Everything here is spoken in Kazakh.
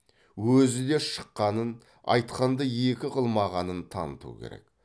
өзі де шыққанын айтқанды екі қылмағанын таныту керек